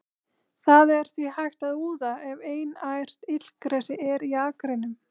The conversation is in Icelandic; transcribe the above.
Það er því hægt að úða ef einært illgresi er í akrinum.